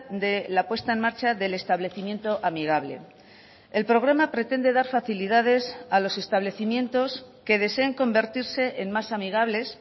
de la puesta en marcha del establecimiento amigable el programa pretende dar facilidades a los establecimientos que deseen convertirse en más amigables